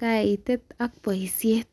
kaitaat ak boishet